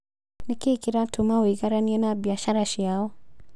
Nĩkĩĩ kĩratũma wĩigaranie na biacara ciao?